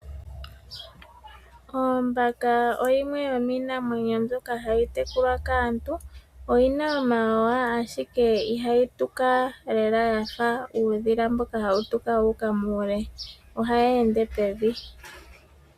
Ombaka oyo yimwe yomiinamwenyo mbyoka hayi tekulwa kaantu. Oyi na omawawa, ashike ihayi tuka lela ya fa uudhila mboka hawu tuka wu uka muule. Ohayi ende pevi.